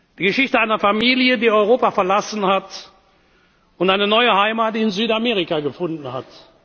Die Geschichte einer Familie, die Europa verlassen hat und eine neue Heimat in Südamerika gefunden